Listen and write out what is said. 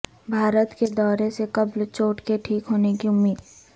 بھارت کے دورے سے قبل چوٹ کے ٹھیک ہونے کی امید